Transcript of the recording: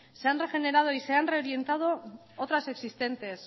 se han regenerado y se han reorientado otras existentes